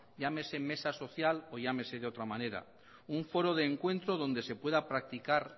llámese mesa social o llámese de otra forma un foro de encuentro donde se pueda practicar